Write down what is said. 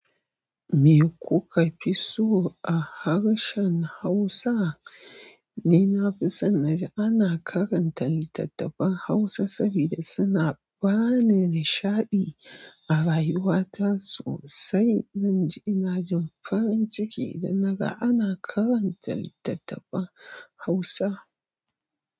Me kuka fi so a harshen Hausa? Ni na fi son naji ana karanta littattafan Hausa saboda suna bani nishaɗi a rayuwata sosai. Zan ji ina jin farin ciki idan naga ana karanta littattafan Hausa.